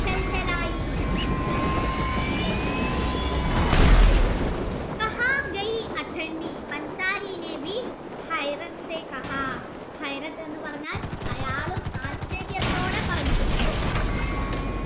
ണ് ന്ന് പറഞ്ഞാൽ കണ്ണുകളൊക്കെ നിറഞ്ഞു നിറയാൻ തുടങ്ങി എന്ന് പറഞ്ഞാൽ അയാൾ ആശ്ചര്യത്തോടെ പറഞ്ഞു